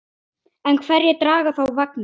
En hverjir draga þá vagninn?